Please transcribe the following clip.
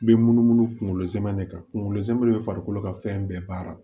Bɛ munumunu kunkolo zɛmɛ de kan kunkolo zɛmɛ be farikolo ka fɛn bɛɛ baara